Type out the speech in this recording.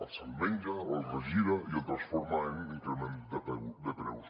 s’ho menja ho regira i ho transforma en increment de preus